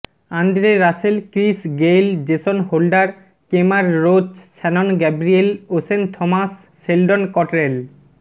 Andre Russell Chris Gayle Jason Holder Kemar Roach Shannon Gabriel Oshane Thomas Sheldon Cottrell